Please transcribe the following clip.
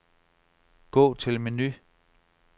Gå til menu.